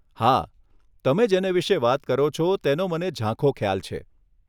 હા, તમે જેને વિષે વાત કરો છો તેનો મને ઝાંખો ખ્યાલ છે.